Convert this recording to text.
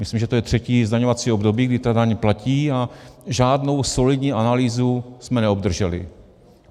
Myslím, že to je třetí zdaňovací období, kdy ta daň platí, a žádnou solidní analýzu jsme neobdrželi.